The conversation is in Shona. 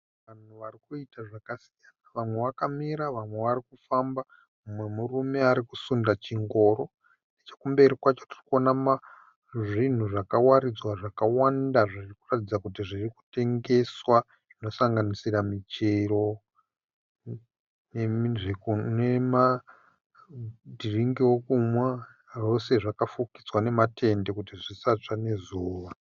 Vanhu varikuita zvakasiyana , vamwe vakamira nevamwe vari kufamba. Umwe murume arikusunda chingoro. Nechekumberi kwacho kunoonekwa zvinhu zvakawaridzwa zvakawanda zvinoratidza kuti zviri kutengeswa zvinosanganisira michero nemadhiringi ekumwa. Zvese zvakafukidzwa nematende kuti zvisatsva nezuva.